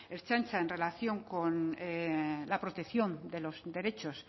ertzaintza en relación con la protección de los derechos